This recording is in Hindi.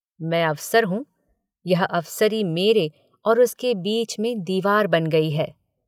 मैं अफ़सर हूँ यह अफ़सरी मेरे और उसके बीच में दीवार बन गई है।